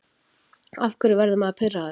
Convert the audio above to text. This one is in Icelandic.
Af hverju verður maður pirraður?